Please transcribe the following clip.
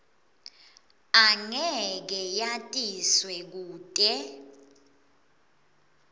angeke yatiswe kute